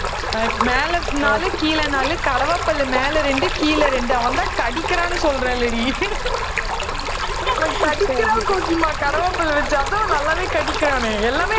மேல நாலு கீழ நாலு கடவாப்பல்லு மேல ரெண்டு கீழ ரெண்டு அவன்தான் கடிக்கிறான்னு சொல்றேன்லடி அவன் கடிக்கிறான் கோக்கிமா கடவாப்பல்ல வச்சு அதான் நல்லாவே கடிக்கிறானே